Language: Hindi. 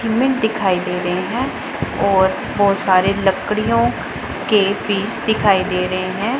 सीमेंट दिखाई दे रहे हैं और बहुत सारे लकड़ियों के पीस दिखाई दे रहे हैं।